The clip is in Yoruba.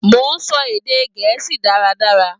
Mo n sọ èdè gẹ̀ẹ́sì dáradára.